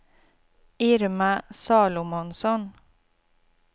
Irma Salomonsson